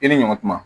I ni ɲɔ tuma